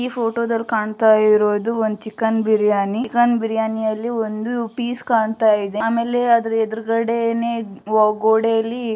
ಈ ಫೋಟೋದಲ್ಲಿ ಕಾಣ್ತಾಇರೋದು ಒಂದ್ ಚಿಕನ್ ಬಿರಿಯಾನಿ ಬಿರಿಯಾನಿಯಲ್ಲಿ ಒಂದು ಪೀಸ್ ಕಾಣ್ತಾಇದೆ. ಆಮೇಲೆ ಅದರ ಎದುರ್ಗಡೆನೆ ಗೋಡೆಯಲ್ಲಿ --